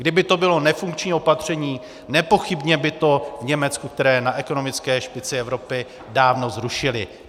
Kdyby to bylo nefunkční opatření, nepochybně by to v Německu, které je na ekonomické špici Evropy, dávno zrušili.